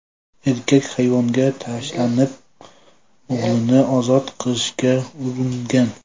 Erkak hayvonga tashlanib, o‘g‘lini ozod qilishga uringan.